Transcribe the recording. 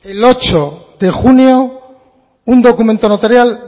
el ocho de junio un documento notarial